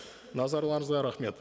назарларыңызға рахмет